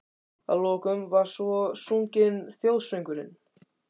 Að lokum var svo sunginn þjóðsöngurinn.